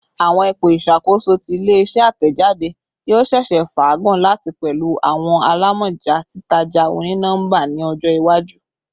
Awọn ipo iṣakoso ti ile-iṣẹ atẹjade yoo ṣeese faagun lati pẹlu awọn alamọja titaja oni-nọmba ni ọjọ iwaju